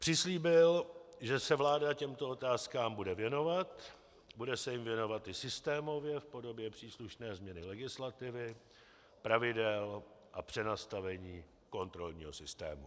Přislíbil, že se vláda těmto otázkám bude věnovat, bude se jim věnovat i systémově v podobě příslušné změny legislativy, pravidel a přenastavení kontrolního systému.